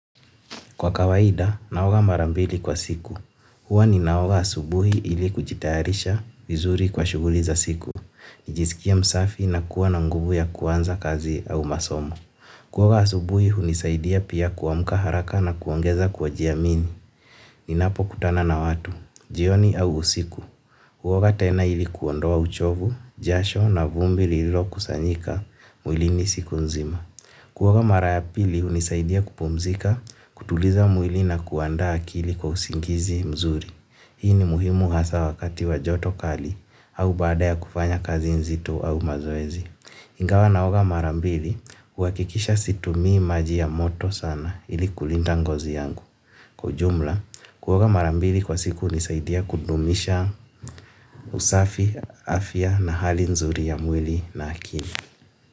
Kwa kawaida naoga mara mbili kwa siku huwa ninaoga asubuhi ili kujitayarisha vizuri kwa shughuli za siku. Nijisikie msafi na kuwa na nguvu ya kuanza kazi au masomo. Kuoga asubuhi hunisaidia pia kuamka haraka na kuongeza kwajiamini. Ninapokutana na watu, jioni au usiku. Kuoga tena ili kuondoa uchovu, jasho na vumbi lililokusanyika, mwilini siku nzima. Kuoga mara ya pili hunisaidia kupumzika, kutuliza mwili na kuandaa akili kwa usingizi mzuri. Hii ni muhimu hasa wakati wa joto kali au baada ya kufanya kazi nzito au mazoezi. Ingawa naoga mara mbili huhakikisha situmii maji ya moto sana ili kulinda ngozi yangu. Kwa ujumla, kuoga mara mbili kwa siku hunisaidia kudumisha usafi, afya na hali nzuri ya mwili na akili.